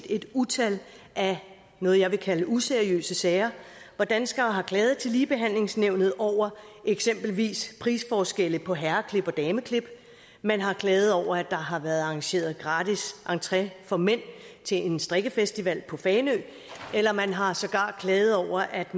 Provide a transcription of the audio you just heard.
et utal af noget jeg vil kalde useriøse sager hvor danskere har klaget til ligebehandlingsnævnet over eksempelvis prisforskelle på herreklip og dameklip man har klaget over at der har været arrangeret gratis entré for mænd til en strikkefestival på fanø eller man har sågar klaget over at